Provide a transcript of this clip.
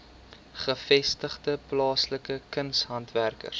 gevestigde plaaslike kunshandwerkers